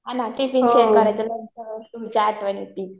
हो ना. Tiffin share करायचो. म्हणून तर तुमची आठवण येति.